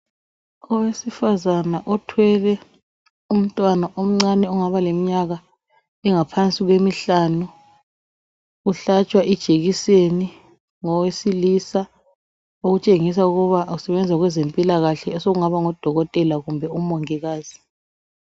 Owesifazana othwele untwana omncane ongaba leminyaka engaba phansi kwemihlanu uhlatshwa ijekiseni ngowesilisa okutshengisa ukuthi usebenza kwezempilakahle sekungaba ngudokotela kumbe umongikazi